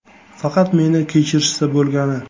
Faqat meni kechirishsa bo‘lgani.